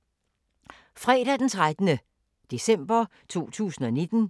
Fredag d. 13. december 2019